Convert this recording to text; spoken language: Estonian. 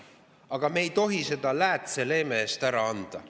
Aga me ei tohi seda läätseleeme eest ära anda.